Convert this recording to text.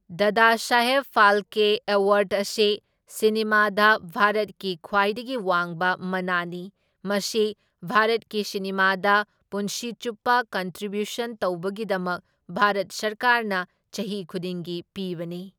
Dadasaheb Phalke award ꯑꯁꯤ ꯁꯤꯅꯦꯃꯥꯗꯥ ꯚꯥꯔꯠꯀꯤ ꯈ꯭ꯕꯥꯏꯗꯒꯤ ꯋꯥꯡꯕ ꯃꯅꯥꯅꯤ, ꯃꯁꯤ ꯚꯥꯔꯠꯀꯤ ꯁꯤꯅꯦꯃꯥꯗ ꯄꯨꯟꯁꯤ ꯆꯨꯞꯄ ꯀꯟꯇ꯭ꯔꯤꯕ꯭ꯌꯨꯁꯟ ꯇꯧꯕꯒꯤꯗꯃꯛ ꯚꯥꯔꯠ ꯁꯔꯀꯥꯔꯅ ꯆꯍꯤ ꯈꯨꯗꯤꯡꯒꯤ ꯄꯤꯕꯅꯤ꯫